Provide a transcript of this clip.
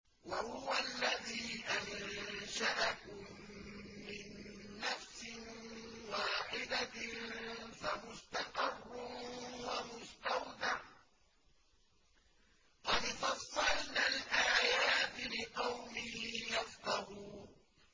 وَهُوَ الَّذِي أَنشَأَكُم مِّن نَّفْسٍ وَاحِدَةٍ فَمُسْتَقَرٌّ وَمُسْتَوْدَعٌ ۗ قَدْ فَصَّلْنَا الْآيَاتِ لِقَوْمٍ يَفْقَهُونَ